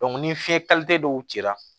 ni fiɲɛ dɔw cira